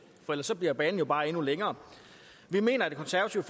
for ellers bliver banen jo bare endnu længere vi mener i det konservative